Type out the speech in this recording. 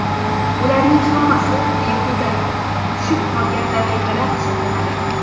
Bularning hammasi behuda tushib qolgan daqiqalar hisoblanadi.